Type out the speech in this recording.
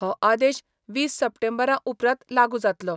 हो आदेश वीस सप्टेंबरा उपरांत लागु जातलो.